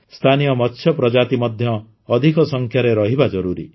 ସ୍ଥାନୀୟ ମତ୍ସ୍ୟ ପ୍ରଜାତି ମଧ୍ୟ ଅଧିକ ସଂଖ୍ୟାରେ ରହିବା ଜରୁରୀ